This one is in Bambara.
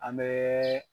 An bɛ